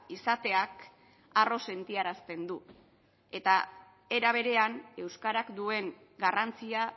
izateak harro sentiarazten du eta era berean euskarak duen garrantzia